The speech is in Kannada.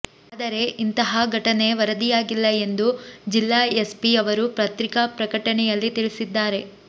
ಆದರೇ ಇಂತಾಹ ಘಟನೆ ವರದಿಯಾಗಿಲ್ಲ ಎಂದು ಜಿಲ್ಲಾ ಎಸ್ ಪಿ ಯವರು ಪತ್ರಿಕಾ ಪ್ರಕಟಣೆಯಲ್ಲಿ ತಿಳಿಸಿದ್ದಾರೆ